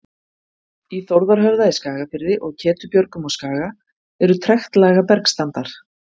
Í Þórðarhöfða í Skagafirði og Ketubjörgum á Skaga eru trektlaga bergstandar.